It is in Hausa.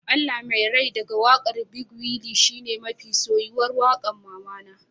Allah Mai rai daga wakar big willy shine mafi soyuwar waƙar mamana